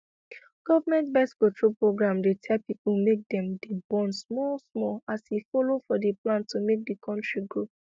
government birthcontrol programdey tell people make dem dey born small smallas e follow for the plan to make the country grow